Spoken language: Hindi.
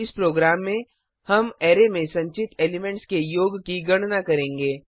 इस प्रोग्राम में हम अरै में संचित एलिमेंट्स के योग की गणना करेंगे